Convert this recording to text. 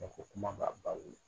Dɔw ko kuma b'a ba wolo.